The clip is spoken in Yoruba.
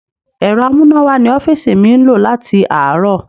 Ẹ̀rọ amúnáwá ní ọ́fíìsì mi ń lò láti àárọ̀.